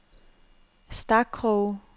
Stakroge